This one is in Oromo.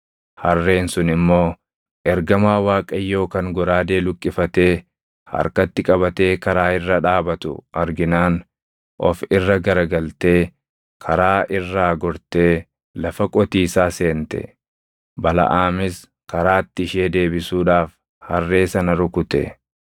Harreen sun immoo ergamaa Waaqayyoo kan goraadee luqqifatee harkatti qabatee karaa irra dhaabatu arginaan of irra gara galtee karaa irraa gortee lafa qotiisaa seente. Balaʼaamis karaatti ishee deebisuudhaaf harree sana rukute.